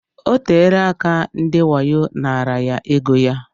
Oteela aka ndị wayo naara ya égo ya.